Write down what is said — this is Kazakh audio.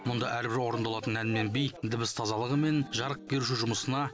мұнда әрбір орындалатын ән мен би дыбыс тазалығы мен жарық беруші жұмысына